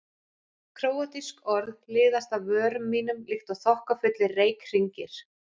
Króatísk orð liðast af vörum mínum líkt og þokkafullir reykhringir.